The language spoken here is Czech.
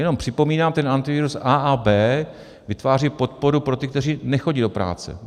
Jenom připomínám, ten Antiviru A a B vytváří podporu pro ty, kteří nechodí do práce.